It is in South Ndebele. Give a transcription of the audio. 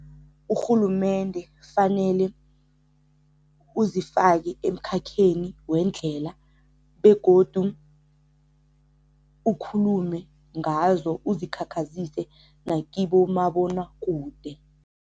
Urhulumende fanele uzifake emkhakheni wendlela begodu ukhulume ngazo uzikhakhazise nakibomabonwakude.